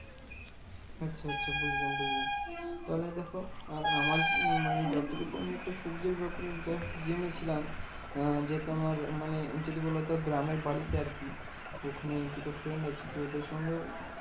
আচ্ছা আচ্ছা বুঝলাম বুঝলাম। তাহলে দেখো আর আমার উম মানে যতটুকু আমি একটু সবজির ব্যাপারে just জেনেছিলাম। যেহেতু আমার মানে যদি বলতো গ্রামের বাড়িতে আরকি? ওখানে দুটো friend আছে তো ওদের সঙ্গেও